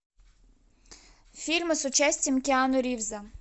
фильмы с участием киану ривза